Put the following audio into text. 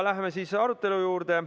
Läheme siis arutelu juurde.